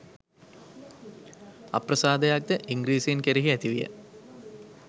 අප්‍රසාදයක්ද ඉංග්‍රීසීන් කෙරෙහි ඇති විය